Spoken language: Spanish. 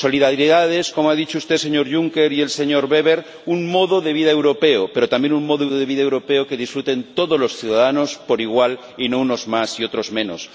Solidaridad es —como han dicho usted, señor Juncker, y el señor Weber— un modo de vida europeo, pero también, un modelo de vida europeo que disfruten todos los ciudadanos por igual y no unos más y otros menos.